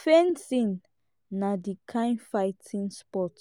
fencing na di kind fighting sport